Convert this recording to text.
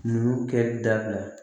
Numukɛ dabila